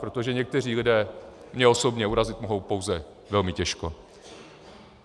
Protože někteří lidé mě osobně urazit mohou pouze velmi těžko.